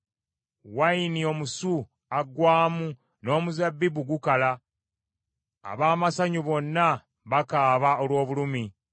Wayini omusu aggwaamu, n’omuzabbibu gukala, ab’amasanyu bonna bakaaba olw’obulumi.